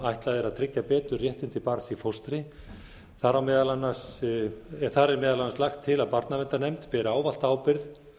ætlað er að tryggja betur réttindi barns í fóstri þar er meðal annars lagt til að barnaverndarnefnd beri ávallt ábyrgð